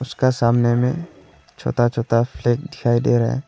उसका का सामने में छोटा-छोटा फ्लैग दिखाई दे रहा है।